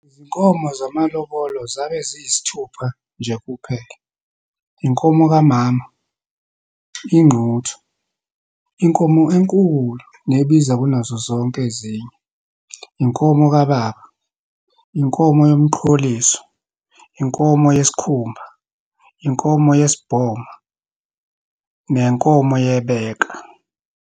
izinkomo zamalobolo zabe ziyisithupha, nje kuphela, inkomo kamama, Ingquthu inkomo enkulu, nebiza kunazo zonke ezinye, inkomo kababa, inkomo yomqholiso, inkomo yesikhumba, inkomo yesibhoma nenkomo yebeka.